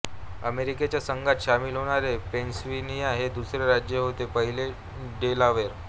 अमेरिकेच्या संघात सामील होणारे पेनसिल्व्हेनिया हे दुसरे राज्य होते पहिले डेलावेर